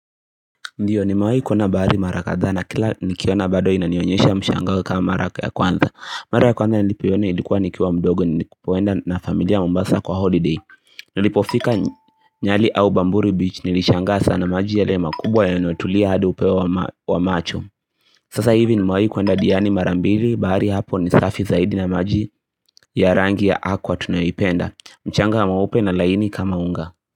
Ndiyo nimewahi kuna bahari mara kadha na kila nikiona bado na inanionyesha mshangao kama mara ya kwanza Mara ya kwanza nilipiona ilikuwa nikiwa mdogo nilipoenda na familia mmbasa kwa holiday Nilipofika nyali au bamburi beach nilishanga sana maji yale makubwa yanotulia hadi upeo wa macho Sasa hivi nimewahi kuenda diani mara mbili bahari hapo nisafi zaidi na maji ya rangi ya aqua tunayipenda mchanga ya mweupe na laini kama unga.